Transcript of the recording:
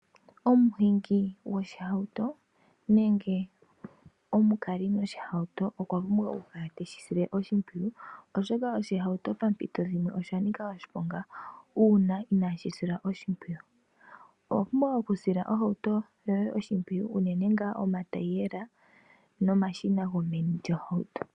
Omuhingi goshihauto nenge omukali goshihauto okwa pumbwa oku kala teshi sile oshipwiyu, oshoka oshihauto pampito dhimwe oshanika oshiponga uuna inashi silwa oshipwiyu. Owa pumbwa oku sila oshihauto shoye oshimpwiyu uunene nga omatayile nomashina gomeni lyohauto.